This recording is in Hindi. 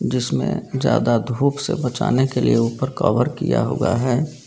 जिसमें ज्यादा धूप से बचाने के लिए ऊपर कवर किया हुआ है।